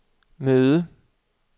møde